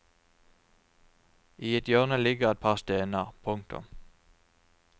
I et hjørne ligger et par stener. punktum